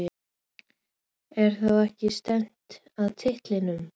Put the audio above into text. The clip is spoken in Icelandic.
Er þá ekki stefnt að titlinum?